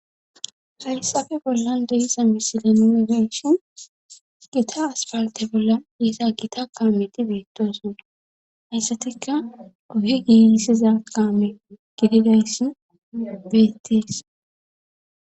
Hayssafe bollan de'izasa misile nune benshin gita aspalte bolla iiza gita kaameti beettoosun hayssatikka uhe giiisiza kaame gididayssin beettees